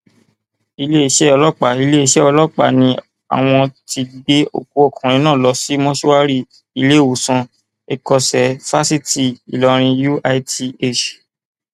iléeṣẹ ọlọpàá iléeṣẹ ọlọpàá ni àwọn ti gbé òkú ọkùnrin náà lọ sí mọṣúárì ìléwọsán ẹkọṣẹ fásitì ìlọrin uith